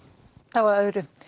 þá að öðru